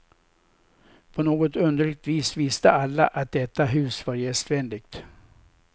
På något underligt vis visste alla, att detta hus var gästvänligt.